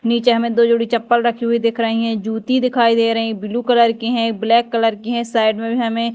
नीचे हमें दो जोड़ी चप्पल रखी हुई दिख रही है। जूती दिखाई दे रही हैं ब्लू कलर की है ब्लैक कलर की है साइड में भी हमें--